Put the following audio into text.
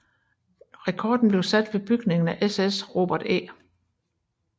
Rekorden blev sat ved bygningen af SS Robert E